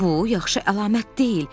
Bu yaxşı əlamət deyil.